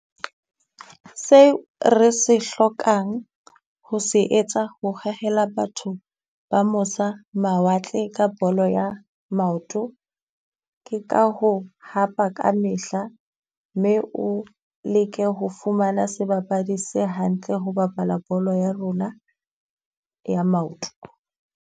Seo re se hlokang ho se etsa ho hohela batho ba mosa mawatle ka bolo ya maoto. Ke ka ho hapa ka mehla mme o leke ho fumana sebapadi se hantle ho bapala bolo ya rona ya maoto.